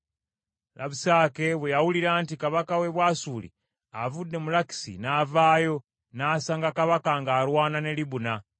Labusake bwe yawulira nti kabaka w’e Bwasuli avudde mu Lakisi, n’avaayo, n’asanga kabaka ng’alwana ne Libuna.